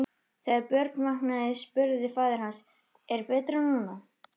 Þegar Björn vaknaði spurði faðir hans:-Er betra nú?